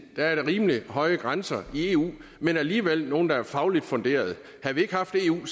rimelig høje grænser i eu men alligevel nogle der er fagligt funderet havde vi ikke haft eu